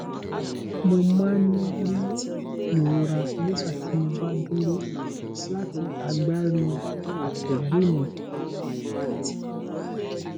mo máa ń rí ìrora nígbà tí mo bá dúró láti agbárí àtẹgbẹ́ mi